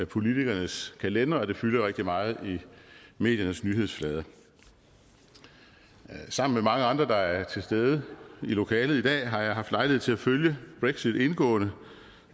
politikernes kalendre og det fylder rigtig meget i mediernes nyhedsflade sammen med mange andre der er til stede i lokalet i dag har jeg haft lejlighed til at følge brexit indgående